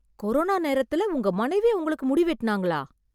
Corona நேரத்துல உங்க மனைவி உங்களுக்கு முடி வெட்டினாங்களா?